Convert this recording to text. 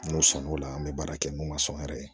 N'u sɔnn'o la an bɛ baara kɛ n'u ma sɔn yɛrɛ